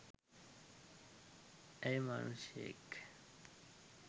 ඇය මනුෂ්‍යයෙක්